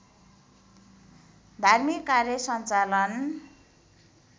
धार्मिक कार्य सञ्चालन